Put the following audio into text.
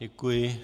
Děkuji.